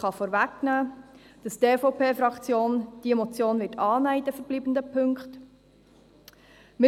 Ich kann vorwegnehmen, dass die EVP-Fraktion diese Motion in den verbleibenden Punkten annehmen wird.